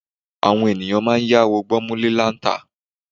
Àwọn ènìyàn a máa yáwó gbọ́múlé-láńtà.